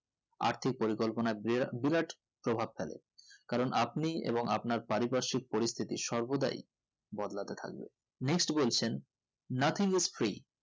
আর্থিক পরিকল্পনা বিরা~বিরাট প্রভাব ফেলে কারণ আপনি এবং আপনার পারি পারসিক পরিস্থিতি সর্বদাই বদলাতে থাকবে next বলছেন nothing is free